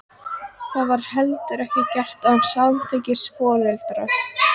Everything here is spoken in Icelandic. Það væri heldur ekki gert án samþykkis foreldra.